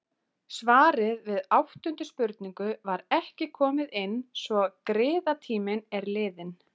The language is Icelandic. Svarið við áttundu spurningu var ekki komið inn svo griðatíminn er liðinn.